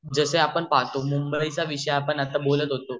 जसे आपण पहातो मुंबईचा विषय आपण बोलत होतो